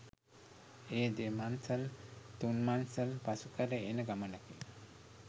එය දෙමංසල් තුංමංසල් පසු කර එන ගමනකි.